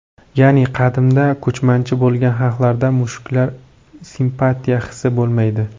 Ya’ni qadimda ko‘chmanchi bo‘lgan xalqlarda mushuklarga simpatiya hisi bo‘lmaydi.